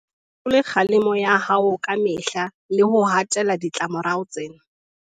O se fetole kgalemo ya hao ka mehla le ho hatella ditlamo rao tsena.